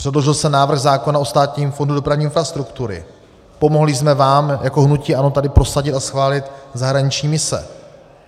Předložil jsem návrh zákona o Státním fondu dopravní infrastruktury, pomohli jsme vám jako hnutí ANO tady prosadit a schválit zahraniční mise.